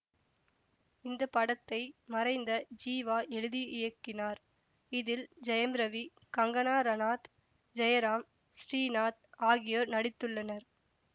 இந்த படத்தை மறைந்த ஜீவா எழுதி இயக்கினார் இதில் ஜெயம் ரவி கங்கனா ரனாத் ஜெயராம் ஸ்ரீநாத் ஆகியோர் நடித்துள்ளனர்